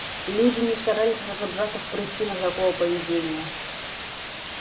люди не старались разобраться в причинах такого поведения